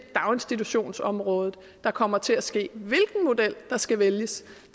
daginstitutionsområdet der kommer til at ske hvilken model der skal vælges